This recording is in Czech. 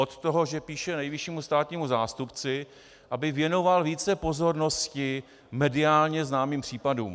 Od toho, že píše nejvyššímu státnímu zástupci, aby věnoval více pozornosti mediálně známým případům.